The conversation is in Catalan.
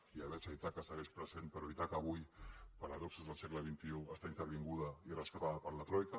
ja veig que ítaca segueix present però ítaca avui paradoxes del segle xxi està intervinguda i rescatada per la troica